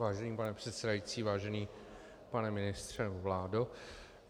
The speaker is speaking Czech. Vážený pane předsedající, vážený pane ministře, vládo.